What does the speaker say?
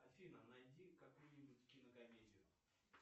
афина найди какую нибудь кинокомедию